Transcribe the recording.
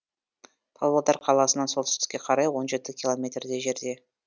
павлодар қаласынан солтүстікке қарай он жеті километрдей жерде